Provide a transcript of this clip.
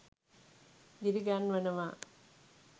දිරි ගන්වනවා